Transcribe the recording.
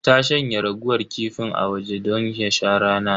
Ta shanya raguwar kifin a waje don ya sha rana.